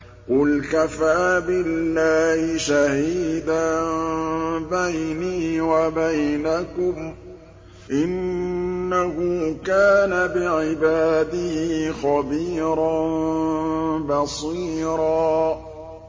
قُلْ كَفَىٰ بِاللَّهِ شَهِيدًا بَيْنِي وَبَيْنَكُمْ ۚ إِنَّهُ كَانَ بِعِبَادِهِ خَبِيرًا بَصِيرًا